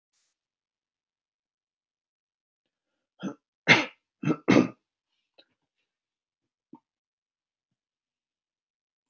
andi föðurlands míns, Júgóslavíu.